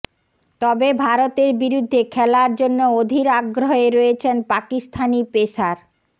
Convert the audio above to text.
তবে ভারতের বিরুদ্ধে খেলার জন্য অধীর আগ্রহে রয়েছেন পাকিস্তানি পেসার